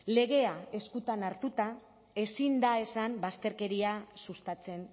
legea eskutan hartuta ezin da esan bazterkeria sustatzen